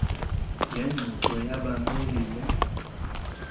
lengxoxo labameli le